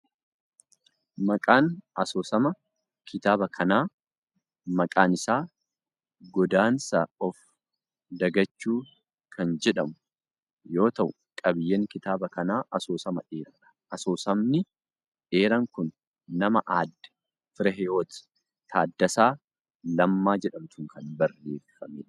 Maqaan asoosama kitaaba kanaa maqaan isaa Godaansa of Dagachuu kan jedhamu yoo ta'u, qabiiyyeen kitaaba kanaa asoosama dheeraa dha. Asoosamni dheeraan kun nama Aaddee Fireehiwoot Taaddasaa Lammaa jedhamtuun kan barreeffamee dha.